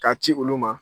K'a ci olu ma